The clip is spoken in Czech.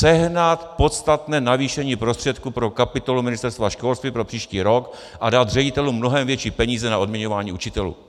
Sehnat podstatné navýšení prostředků pro kapitolu Ministerstva školství pro příští rok a dát ředitelům mnohem větší peníze na odměňování učitelů.